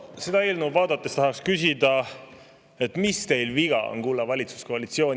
Seda eelnõu vaadates tahaks küsida: mis teil viga on, kulla valitsuskoalitsioon?